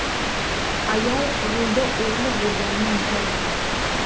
Ayol rulda o‘g‘li bo‘lganini inkor etmoqda.